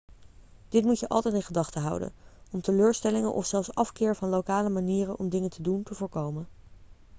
dit moet je altijd in gedachten houden om teleurstellingen of zelfs afkeer van lokale manieren om dingen te doen te voorkomen